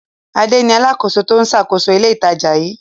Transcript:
Adé ni alákòóso tó ń ṣàkóso ilé-ìtajà yìí.